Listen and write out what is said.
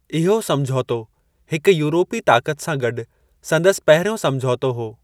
इहो समझौतो, हिक यूरोपी ताकत सां गॾु संदसि पहिरियों समझौतो हो।